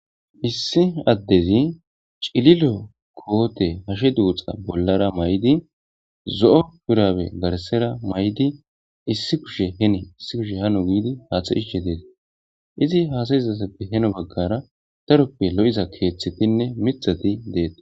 issi addezi cililo koote hashe duuxa bollara may7di zo7o pirabe garasera may7di issi kushe hene issi kushe hano giidi haaxa hishe deesi izi haasayizazappe heno baggara taroppe lo7iza keeththetinne mitxati deeta